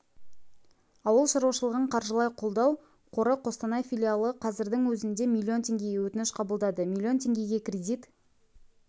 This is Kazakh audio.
ауыл шаруашылығын қаржылай қолдау қоры қостанай филалы қазірдің өзінде миллион теңгеге өтініш қабылдады миллион теңгеге кредит